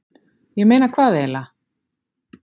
ég meina hvað eiginlega.